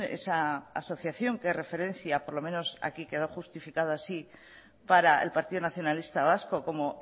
esa asociación que referencia por lo menos aquí quedó justificado así para el partido nacionalista vasco como